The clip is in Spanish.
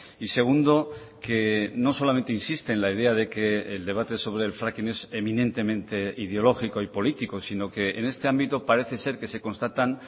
y segundo que no solamente insiste en la idea de que el debate sobre el fracking es eminentemente ideológico y político sino que en este ámbito parece ser que se constatan